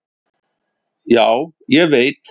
"""Já, ég veit"""